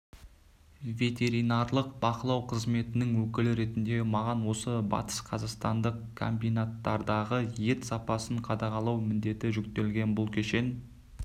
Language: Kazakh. ветеринарлық бақылау қызметінің өкілі ретінде маған осы батысқазақстандық комбинаттардағы ет сапасын қадағалау міндеті жүктелген бұл кешен